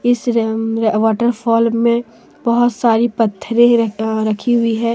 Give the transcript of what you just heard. इस waterfall में बहोत सारे पत्थरे रखी हुई है।